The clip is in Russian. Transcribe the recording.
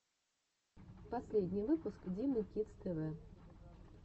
последний выпуск димы кидс тэ вэ